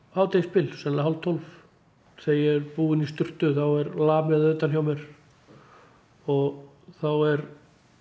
hádegisbil sennilega hálf tólf þegar ég búin í sturtu þá er lamið að utan hjá mér og þá er